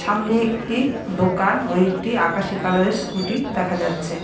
সামনে একটি দোকান ও একটি আকাশী কালারের স্কুটি দেখা যাচ্ছে ।